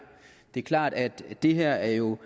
er klart at det her jo